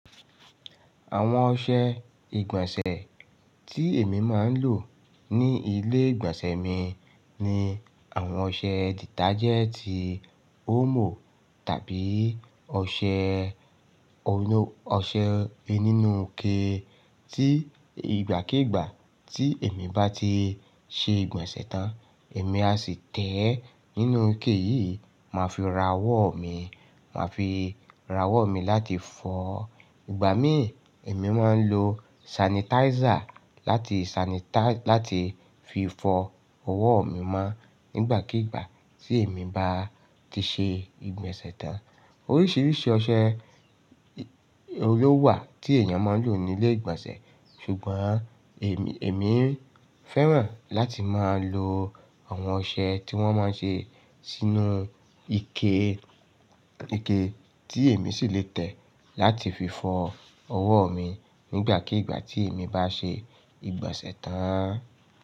Àwọn ọṣẹ ìgbọ̀nsẹ̀ tí èmi máa ń lò ní ilé ìgbọ̀nsẹ̀ mi ni àwọn ọṣẹ detachẹ́ẹ̀tì omo tàbí ọṣẹ inú ọṣẹ ninú ike tí ìgbàkígbà tí èmi bá ti ṣe ìgbọ̀nsẹ̀ tán, èmi á sì tẹ̀ ẹ́ nínú ike yìí, màá fi ra ọwọ́ mi, màá fi ra ọwọ́ mi láti fọ. Ìgbà mí ì, èmi máa ń lo sanitizer láti sanitize, láti fi fọ ọwọ́ mi mọ́ nígbàkígbà tí èmi bá ti ṣe ìgbọ̀nsẹ̀ tán. Oríṣiríṣi ọṣẹ oun lówa ti èèyàn máa ń lò ní ilé ìgbọ̀nsẹ̀, ṣùgbọ́n èmi, èmi ń fẹ́ràn láti máa lo àwọn ọṣẹ tí wọ́n máa ń ṣe sínú ike, ike tí èmi sì le tẹ̀ láti fi fọ ọwọ́ mi nígbàkígbà tí èmi bá ṣe ìgbọ̀nsẹ̀ tán.